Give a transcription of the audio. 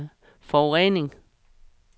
forurening